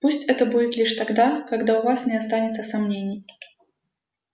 пусть это будет лишь тогда когда у вас не останется сомнений